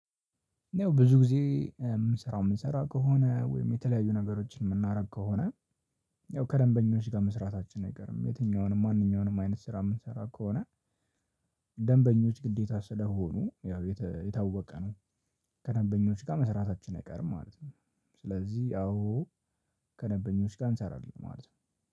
ብዙ ጊዜ የምንሰራው የምንሰራ ከሆነ ወይም የተለያዩ ነገሮችን የምናደርግ ከሆነ ያው ከደንበኞች ጋር መስራታችን አይገርም። የትኛውንም ማንኛውንም አይነት ስራ የምንሰራ ከሆነ ደንበኞች ግዴታ ስለሆኑ ያው የታወቀ ነው። ከደንበኞች ጋር መስራታችን አይቀርም ማለት ነው። ስለዚህ ያው ከደንበኞች ጋር እንሰራለን ማለት ነው።